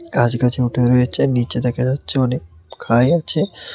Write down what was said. গাছ গাছে উঠে রয়েছে নীচে দেখা যাচ্ছে অনেক খাই আছে।